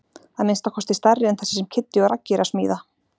Að minnsta kosti stærri en þessi sem Kiddi og Raggi eru að smíða.